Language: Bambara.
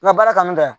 N ka baara kanu ka